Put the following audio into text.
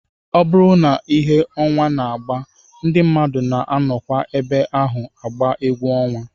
Ọ bụrụ ihe ọnwa na-agba, ndị mmadụ na-anọkwa ebe ahụ agba egwu ọnwa